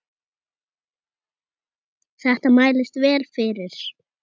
Þetta mælist vel fyrir.